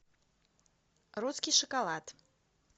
русский шоколад